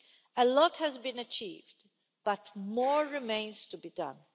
A lot has been achieved, but more remains to be done.